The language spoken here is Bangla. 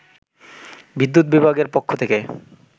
বিদ্যুৎ বিভাগের পক্ষ থেকে